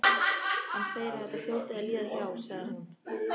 Hann segir að þetta hljóti að líða hjá, sagði hún.